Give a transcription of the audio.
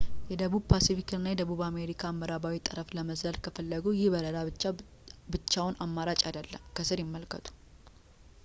የደቡብ ፓስፊክን እና የደቡብ አሜሪካን ምዕራባዊ ጠረፍ ለመዝለል ከፈለጉ ይህ በረራ ብቸኛው አማራጭ አይደለም። ከስር ይመልከቱ